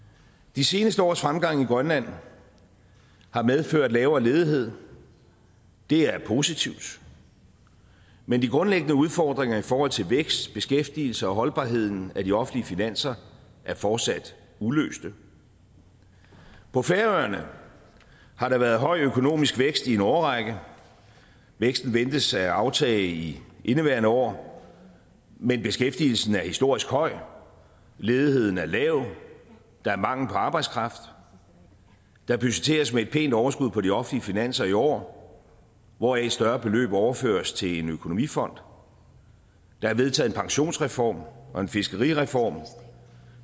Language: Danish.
de seneste års fremgang i grønland har medført lavere ledighed det er positivt men de grundlæggende udfordringer i forhold til vækst beskæftigelse og holdbarheden af de offentlige finanser er fortsat uløste på færøerne har der været høj økonomisk vækst i en årrække væksten ventes at aftage i indeværende år men beskæftigelsen er historisk høj ledigheden er lav der er mangel på arbejdskraft der budgetteres med et pænt overskud på de offentlige finanser i år hvoraf et større beløb overføres til en økonomifond der er vedtaget en pensionsreform og en fiskerireform